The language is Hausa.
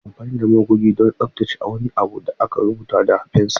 Ana amfani da magoge don tsaftace wani abu da aka rubuta da fensir.